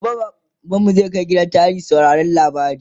gobe baban mu zai kaimj gidan tarihi mu saurari labarai